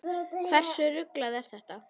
Hversu ruglað er þetta?